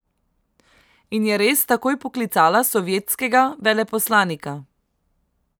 In je res takoj poklicala sovjetskega veleposlanika.